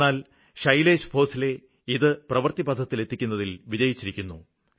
എന്നാല് ശൈലേശ് ഭോസ്ലെ ഇത് പ്രവര്ത്തിപഥത്തില് എത്തിക്കുന്നതില് വിജയിച്ചിരിക്കുന്നു